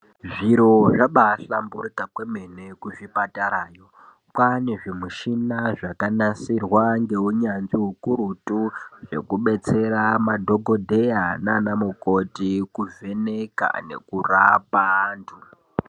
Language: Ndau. Zviro zvabaahlamburika kwemene kuzvipatarayo, kwaane zvimushina zvakanasirwa ngeunyanzvi ukurutu zvekubetsera madhokodheya naana mukoti kuvheneka nekurapa antu.